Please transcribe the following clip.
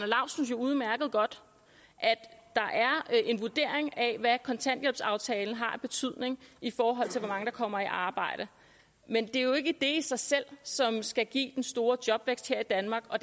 laustsen jo udmærket godt at det er en vurdering af hvad kontanthjælpsaftalen har af betydning i forhold til hvor mange der kommer i arbejde men det er jo ikke det i sig selv som skal give den store jobvækst her i danmark og